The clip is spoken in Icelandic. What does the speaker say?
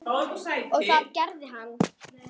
Og það gerði hann.